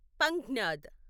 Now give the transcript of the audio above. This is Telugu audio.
పంజ్ఞాద్